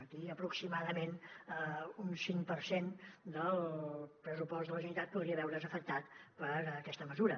aquí aproximadament un cinc per cent del pressupost de la generalitat podria veure’s afectat per aquesta mesura